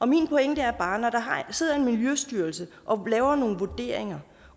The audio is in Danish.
min pointe er bare at når der sidder en miljøstyrelse og laver nogle vurderinger